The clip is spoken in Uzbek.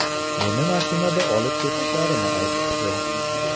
Meni mashinada olib ketishlarini aytishdi.